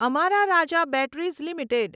અમારા Raja batteries limited